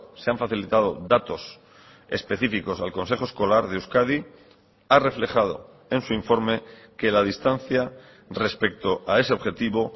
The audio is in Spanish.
se han facilitado datos específicos al consejo escolar de euskadi ha reflejado en su informe que la distancia respecto a ese objetivo